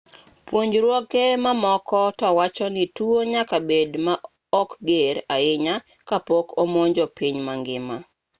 puonjruoge mamoko to wacho ni tuo nyaka bed ma ok ger ahinya ka pok omonjo piny ma ngima